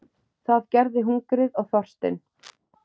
Það gerði hungrið og þorstinn.